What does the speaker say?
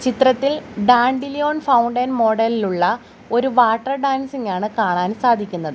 ചിത്രത്തിൽ dandelion fountain മോഡലിലുള്ള ഒരു വാട്ടർ ഡാൻസിങ് ആണ് കാണാൻ സാധിക്കുന്നത്.